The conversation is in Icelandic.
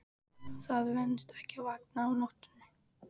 Það venst ekki að vakna á nóttunni.